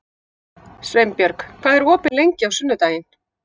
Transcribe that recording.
Sveinbjörg, hvað er opið lengi á sunnudaginn?